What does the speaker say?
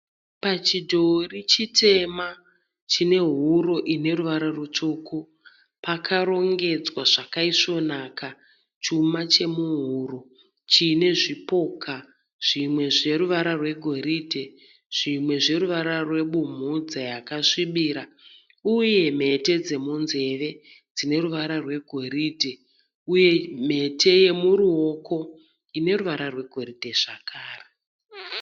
Pachidhori chitema chinehuro ineruvara rutsvuku pakarongedzwa zvakayesvonaka chuma chemuhuro chinezvipoka zvimwe zveruvara rwegoridhe zvimwe zveruvara rwebumhudza yakasvibira uye mhete dzemunzeve dzineruvara rwegoridhe uye mhete yemuruoko ineruvara rwegoridhe zvakare.